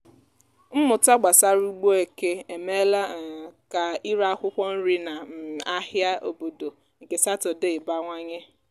mmụta gbasara ugbo eke emeela um ka ire akwụkwọ nri na um ahịa obodo nke sátọdee bawanye.